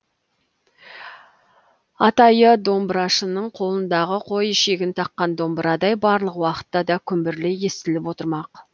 атайы домбырашының қолындағы қой ішегін таққан домбырадай барлық уақытта да күмбірлей естіліп отырмақ